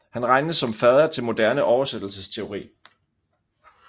Han regnes som fader til moderne oversættelsesteori